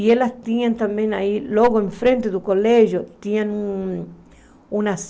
E elas tinham também aí, logo em frente do colégio, tinham um